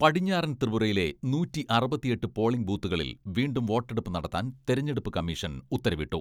പടിഞ്ഞാറൻ ത്രിപുരയിലെ നൂറ്റി അറുപത്തിയെട്ട് പോളിങ്ങ് ബൂത്തുകളിൽ വീണ്ടും വോട്ടെടുപ്പ് നടത്താൻ തെരഞ്ഞെടുപ്പ് കമ്മീഷൻ ഉത്തരവിട്ടു.